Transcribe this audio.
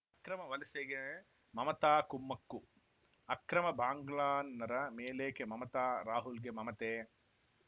ಅಕ್ರಮ ವಲಸೆಗೆ ಮಮತಾ ಕುಮ್ಮಕ್ಕು ಅಕ್ರಮ ಬಾಂಗ್ಲನ್ನರ ಮೇಲೇಕೆ ಮಮತಾ ರಾಹುಲ್‌ಗೆ ಮಮತೆ